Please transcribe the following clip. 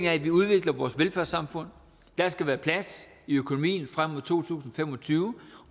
at vi udvikler vores velfærdssamfund der skal være plads i økonomien frem mod to tusind og fem og tyve